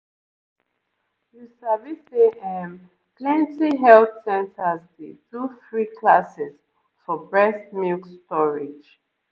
you sabi say ehm plenty health centers dey do free classes for breast milk storage